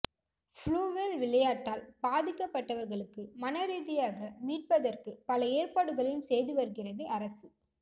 blue whale விளையாட்டால் பாதிக்கப்பட்டவர்களுக்கு மன ரீதியாக மீட்பதற்கு பல ஏற்பாடுகளையும் செய்து வருகிறது அரசு